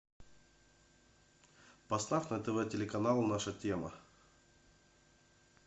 поставь на тв телеканал наша тема